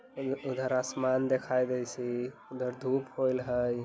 उधर आसमान दिखाई देइसी उधर धूप होईल हई।